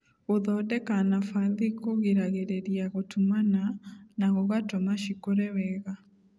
Gũthondeka nafathi kũgiragĩria gũtumana na gũgatũma cikũre wega.